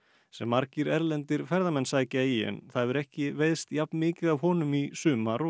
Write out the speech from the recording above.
sem margir erlendir ferðamenn sækja í en það hefur ekki veiðst jafn mikið af honum í sumar og